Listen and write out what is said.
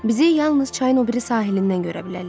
Bizi yalnız çayın o biri sahilindən görə bilərlər.